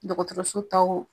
Dɔgɔtɔrɔso taw